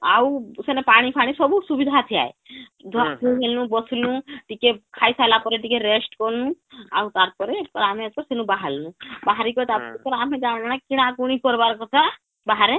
ଆଉ ସେନେ ପାଣି ଫାଣି ସବୁ ସୁବିଧା ଥାଏ ଧୁଆ ଧୁଇ ହେନୁ ବସିନୁ ଟିକେ ଖାଇସାରିଲା ପରେ ଟିକେ rest କନୁ ଆଉ ତାର ପରେ ଆମେ ଏଥରକ ସେନୁ ବାହାରନୁ ବାହାରି କରି ଆମେ ଜାଣୁ....... କିଣା କିଣି କରିବା କଥା ବାହାରେ